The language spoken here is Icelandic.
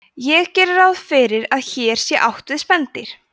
ég geri ráð fyrir að hér sé átt við spendýr